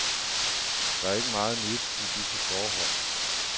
Der er ikke meget nyt i disse forhold.